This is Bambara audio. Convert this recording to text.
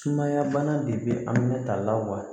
Sumaya bana de bɛ a minɛta la wa